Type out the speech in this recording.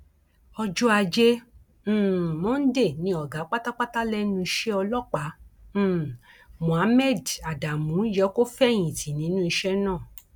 ọjọ ajé um monde ni ọgá pátápátá lẹnu iṣẹ ọlọpàá um mohammed adamu yẹ kó fẹyìntì nínú iṣẹ náà